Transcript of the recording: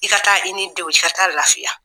I ka taa i ni denw i ka taa lafiya